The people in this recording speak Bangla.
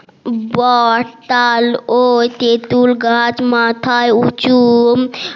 বড তাল ও তেতুল গাছ মাথায় উঁচু